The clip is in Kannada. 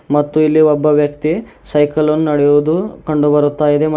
ಮತ್ತು ಇಲ್ಲಿ ಒಬ್ಬ ವ್ಯಕ್ತಿ ಸೈಕಲ್ ನ್ನ ನಡೆಯೋದು ಕಂಡು ಬರುತಾ ಇದೆ ಮತ್--